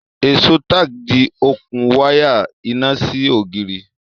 èso tack di okùn waya iná sí ògiri